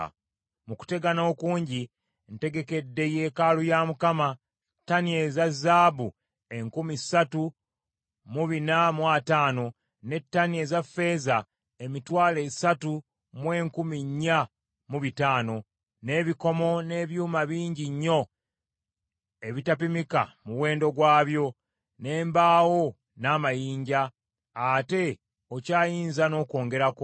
“Mu kutegana okungi ntegekedde yeekaalu ya Mukama ttani eza zaabu enkumi ssatu mu bina mu ataano, ne ttani eza ffeeza emitwalo esatu mu enkumi nnya mu bitaano; n’ebikomo n’ebyuma bingi nnyo ebitapimika muwendo gwabyo, n’embaawo n’amayinja. Ate okyayinza n’okwongerako.